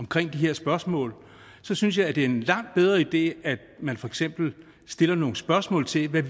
omkring de her spørgsmål så synes jeg at det er en langt bedre idé at man for eksempel stiller nogle spørgsmål til hvad